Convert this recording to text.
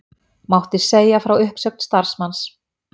Mátti segja frá uppsögn starfsmanns